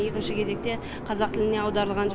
екінші кезекте қазақ тіліне аударылған